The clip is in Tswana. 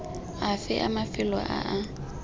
afe a mafelo a a